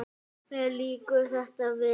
Mér líkar þetta vel.